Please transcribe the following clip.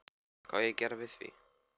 Hvað á ég að gera við því?